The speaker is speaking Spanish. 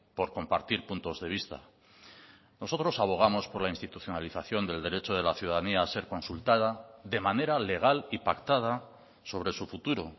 por compartir puntos de vista nosotros abogamos por la institucionalización del derecho de la ciudadanía a ser consultada de manera legal y pactada sobre su futuro